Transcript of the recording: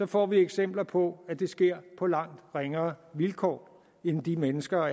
får vi eksempler på at det sker på langt ringere vilkår end de mennesker